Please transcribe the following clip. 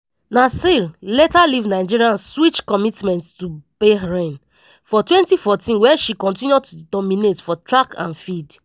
naser later leave nigeria switch commitment to bahrain for 2014 wia she continue to dominate for track and field.